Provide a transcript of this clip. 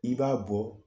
I b'a bɔ